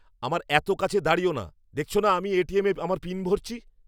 আমার এত কাছে দাঁড়িয়ো না! দেখছো না আমি এটিএমে আমার পিন ভরছি?